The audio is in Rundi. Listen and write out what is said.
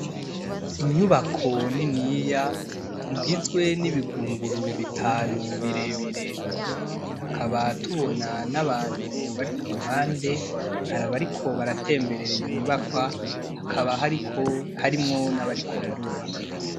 inyubako niniya igizwe nibigunguru bitanu birebire hakaba tubona nabantu bari kuruhande hari abariko batemberera iyo nyubakwa hakaba harimwo nabariko barubaka